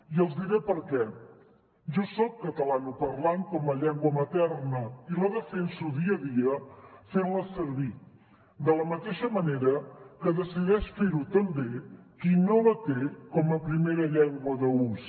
i els diré per què jo soc catalanoparlant com a llengua materna i la defenso dia a dia fent la servir de la mateixa manera que decideix fer ho també qui no la té com a primera llengua d’ús